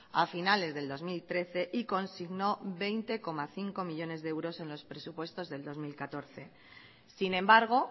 a finales del dos mil trece y consignó veinte coma cinco millónes de euros en los presupuestos del dos mil catorce sin embargo